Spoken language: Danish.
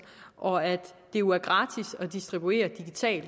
og at det jo er gratis at distribuere digitalt